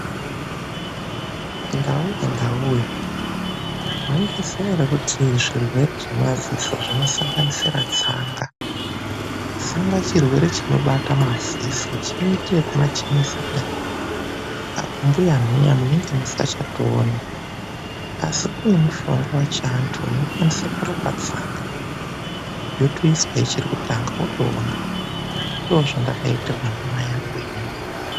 Ndauwe, ndauwe maizviziva ere kuti zvirwere zvemadziso zvino sanganisira tsanga ,tsanga chirwere chinobata madziso chinoita zvekumachenesa apa mbuya nhiya munenge musingachatooni .Asi kune mishonga wechiantu unokwanisa kurapa tsanga ,wotoiswa wototanga kuona .Ndozvandakaitirwa ndimai angu inini.